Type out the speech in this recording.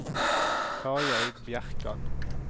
Tarjei Bjerkan